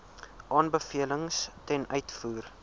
aanbevelings ten uitvoer